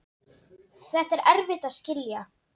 Þetta er erfitt að skilja.